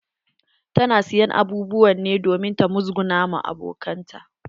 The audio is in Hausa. Ta na siyan abubuwan ne domin ta musguna wa abokanan ta.